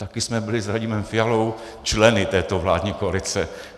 Taky jsme byli s Radimem Fialou členy této vládní koalice.